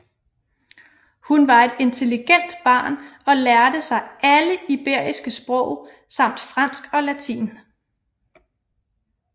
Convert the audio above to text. Hun var et intelligent barn og lærte sig alle iberiske sprog samt fransk og latin